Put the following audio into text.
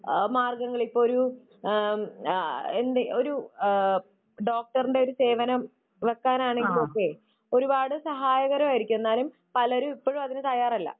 മാർഗങ്ങൾ ഇപ്പൊ ഒരു ഏഹ് ആ എന്താ ഒരു ഡോക്ടറിന്റെ ഒരു സേവനം വെക്കാൻ ആണെങ്കിലും ഒക്കെ ഒരുപാട് സഹായകരമായിരിക്കും. എന്നാലും പലരും ഇപ്പോഴും അതിനു തയ്യാറല്ല.